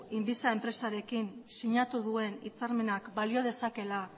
inviza enpresarekin sinatu duen hitzarmenak balio dezakeela